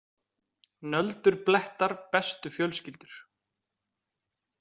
Nöldur blettar bestu fjölskyldur.